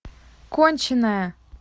конченая